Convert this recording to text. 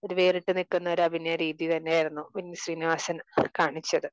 ഒരു വേറിട്ട് നിൽക്കുന്ന ഒരു അഭിനയ രീതി തന്നെ ആയിരുന്നു വിനീത് ശ്രീനിവാസൻ കാണിച്ചത്.